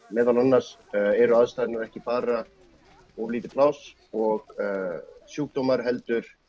meðal annars eru aðstæðurnar ekki bara of lítið pláss og sjúkdómar heldur